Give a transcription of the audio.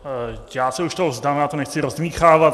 Já se toho už vzdám, já to nechci rozdmýchávat.